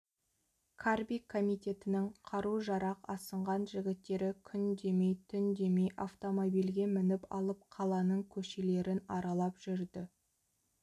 қарби комитетінің қару-жарақ асынған жігіттері күн демей түн демей автомобильге мініп алып қаланың көшелерін аралап жүрді